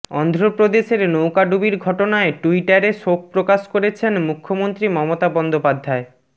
অন্ধ্রপ্রদেশের নৌকাডুবির ঘটনায় ট্যুইটারে শোকপ্রকাশ করেছেন মুখ্যমন্ত্রী মমতা বন্দোপাধ্যায়